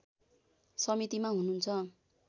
समितिमा हुनुहुन्छ